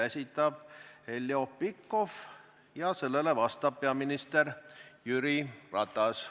Esitab Heljo Pikhof ja vastab peaminister Jüri Ratas.